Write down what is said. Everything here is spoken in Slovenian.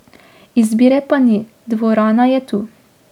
Izbire pa ni, dvorana je tu.